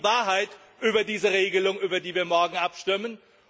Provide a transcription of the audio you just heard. Das ist die Wahrheit über diese Regelung, über die wir morgen abstimmen.